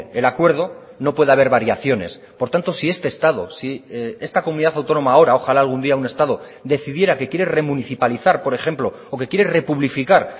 el acuerdo no puede haber variaciones por tanto si este estado si esta comunidad autónoma ahora ojala algún día un estado decidiera que quiere remunicipalizar por ejemplo o que quiere republificar